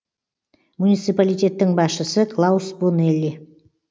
муниципалитеттің басшысы клаус бонелли